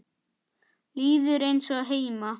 Líður eins og heima.